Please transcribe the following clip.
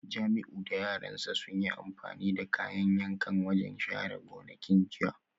Jamiu da yaran sa sun yi amfani da kayan yankan wajen share gonakin jiya